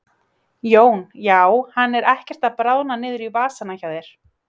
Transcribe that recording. Jón: Já hann er ekkert að bráðna niður í vasana hjá þér?